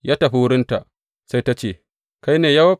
Ya tafi wurinta, sai ta ce, Kai ne Yowab?